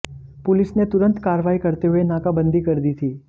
police ने तुरंत कार्रवाई करते हुए नाकाबंदी कर दी थी